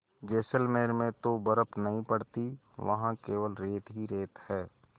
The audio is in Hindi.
जैसलमेर में तो बर्फ़ नहीं पड़ती वहाँ केवल रेत ही रेत है